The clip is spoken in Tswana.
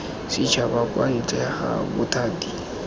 setšhaba kwa ntle ga bothati